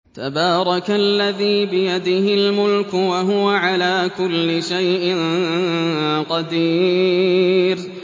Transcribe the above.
تَبَارَكَ الَّذِي بِيَدِهِ الْمُلْكُ وَهُوَ عَلَىٰ كُلِّ شَيْءٍ قَدِيرٌ